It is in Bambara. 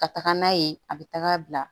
Ka taga n'a ye a bɛ taga bila